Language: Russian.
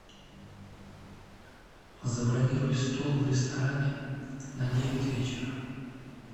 забронируй стол в ресторане на девять вечера